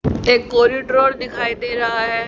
एक कॉरिड्रार दिखाई दे रहा है।